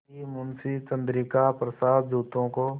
कि मुंशी चंद्रिका प्रसाद जूतों को